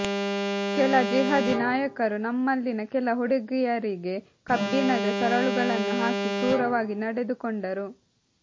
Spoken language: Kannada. ಕೆಲ ಜಿಹಾದಿ ನಾಯಕರು ನಮ್ಮಲ್ಲಿನ ಕೆಲ ಹುಡುಗಿಯರಿಗೆ ಕಬ್ಬಿಣದ ಸರಳುಗಳನ್ನು ಹಾಕಿ ಕ್ರೂರವಾಗಿ ನಡೆದುಕೊಂಡರು